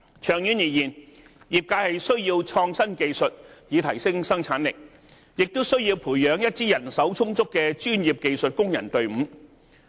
長遠而言，業界需要創新技術以提升生產力，也需要培養一支人手充足的專業技術工人隊伍。